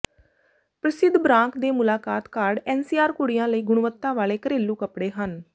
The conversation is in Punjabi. ਪ੍ਰਸਿੱਧ ਬਰਾਂਕ ਦੇ ਮੁਲਾਕਾਤ ਕਾਰਡ ਐਨਸੀਆਰ ਕੁੜੀਆਂ ਲਈ ਗੁਣਵੱਤਾ ਵਾਲੇ ਘਰੇਲੂ ਕੱਪੜੇ ਹਨ